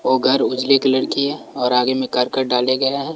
वो घर उजले कलर की है और आगे में करकट डाले गए हैं।